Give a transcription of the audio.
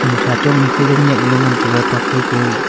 ima tha chong ika gang nyak lo ngantaga tokphai ka.